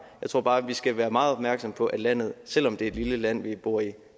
jeg tror bare vi skal være meget opmærksomme på at landet selv om det er et lille land vi bor i